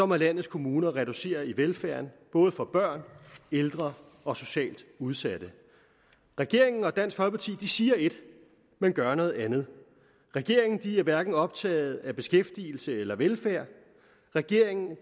må landets kommuner reducere i velfærden både for børn ældre og socialt udsatte regeringen og dansk folkeparti siger et men gør noget andet regeringen er hverken optaget af beskæftigelse eller velfærd regeringen er